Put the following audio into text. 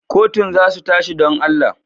Kotun za su tashi, don Allah?